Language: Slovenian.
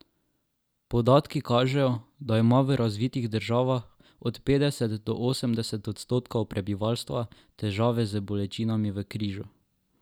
Podatki kažejo, da ima v razvitih državah od petdeset do osemdeset odstotkov prebivalstva težave z bolečinami v križu.